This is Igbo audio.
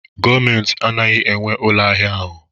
Gọọmentị anaghị enwe ụlọ ahịa ahụ